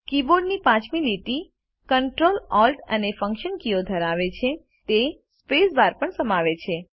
કીબોર્ડની પાંચમી લીટી Ctrl Alt અને ફન્કશન કીઓ ધરાવે છે તે સ્પેસબાર પણ સમાવે છે